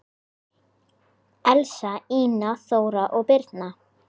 Elsa, Ína, Þóra og Birna.